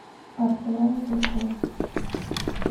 архелая куликова